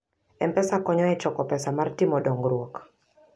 M-Pesa konyo e choko pesa mar timo dongruok.